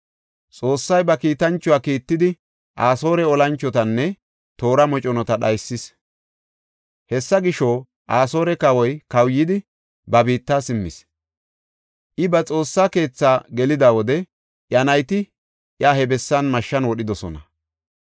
Xoossay ba kiitanchuwa kiittidi Asoore olanchotanne toora moconata dhaysis. Hessa gisho, Asoore kawoy kawuyidi, ba biitta simmis; I ba Xoossa keethaa gelida wode iya nayti iya he bessan mashshan wodhidosona.